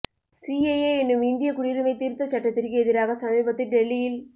CAA எனும் இந்திய குடியுரிமை திருத்தச் சட்டத்திற்கு எதிராக சமீபத்தில் டெல்லியில்